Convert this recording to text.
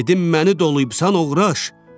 Dedim məni doluyubsan, oğraş!